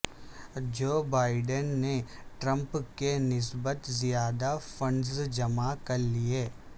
Joe Biden نے Trump کی نسبت زیادہ فنڈز جمع کر لیے